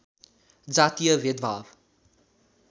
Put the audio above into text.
जातीय भेदभाव